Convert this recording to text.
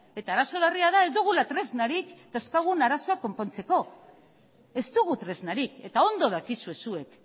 eta arazo larria da ez dugula tresnarik dauzkagun arazoa konpontzeko ez dugu tresnarik eta ondo dakizue zuek